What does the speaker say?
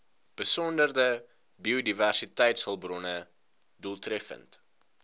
besondere biodiversiteitshulpbronne doeltreffend